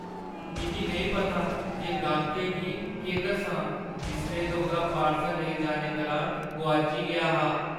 मिगी नेईं पता जे गाह्कै गी केह् दस्सां जिसलै के उʼदा पार्सल लेई जाने दुरान गोआची गेआ हा।